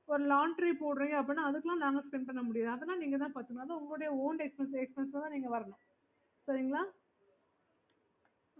இப்போ laundry போறீங்க அப்பிடின்னா அதுகெல்லா நாங்க spend பண்ண முடியாது அதெல்லாம் நீங்க தான் பாத்துக்கணும் அது உங்களோட own expenses ல தான் நீங்க வரணும் சரிங்களா